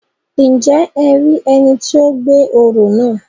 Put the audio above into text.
Njẹ e rí ẹni tí o gbé orò náà?